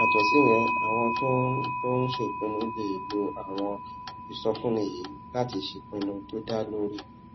yàtò síyẹn àwọn tó ń tó ń ṣèpinnu lè lo àwọn ìsọfúnni yìí láti ṣèpinnu tó dá lórí